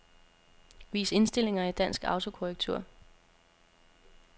Vis indstillinger i dansk autokorrektur.